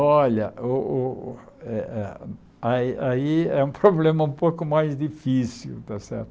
Olha, o o eh eh aí aí é um problema um pouco mais difícil, tá certo?